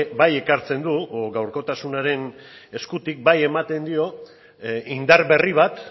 bai ekartzen du gaurkotasunaren eskutik bai ematen dio indar berri bat